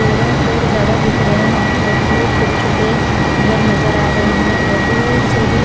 पेड़ों पेड़ ज्यादा दिख रहे हैं और दूर छोटे छोटे घर नजर आ रहे हैं और दूर से भी--